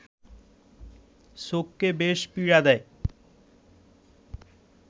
চোখকে বেশ পীড়া দেয়